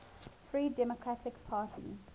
free democratic party